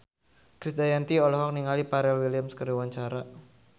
Krisdayanti olohok ningali Pharrell Williams keur diwawancara